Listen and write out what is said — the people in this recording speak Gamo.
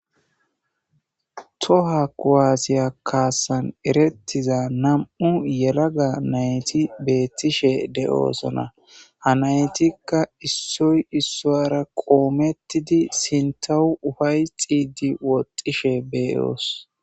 Tohuwa kuwase kasan eretiza Nam'u yelaga nayti betishe do'osona ha naytika isoy isuwara qometidi sintaw ufaytidi woxishe be'os.